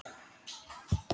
Vina mín!